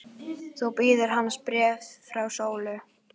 Þá bíður hans bréf frá Sólu.